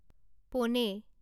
পোনে